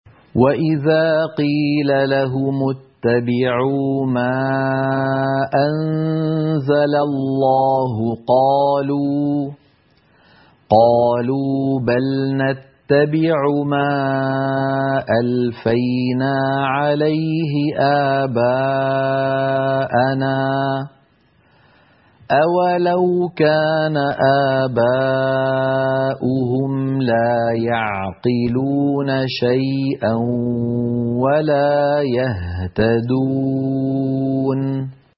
وَإِذَا قِيلَ لَهُمُ اتَّبِعُوا مَا أَنزَلَ اللَّهُ قَالُوا بَلْ نَتَّبِعُ مَا أَلْفَيْنَا عَلَيْهِ آبَاءَنَا ۗ أَوَلَوْ كَانَ آبَاؤُهُمْ لَا يَعْقِلُونَ شَيْئًا وَلَا يَهْتَدُونَ